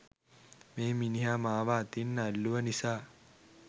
මේ මිනිහා මාව අතින් ඇල්ලුව නිසා